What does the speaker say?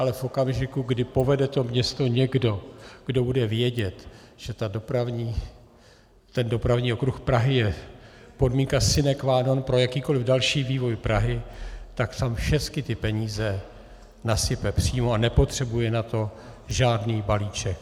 Ale v okamžiku, kdy povede to město někdo, kdo bude vědět, že ten dopravní okruh Prahy je podmínka sine qua non pro jakýkoliv další vývoj Prahy, tak tam všecky ty peníze nasype přímo a nepotřebuje na to žádný balíček.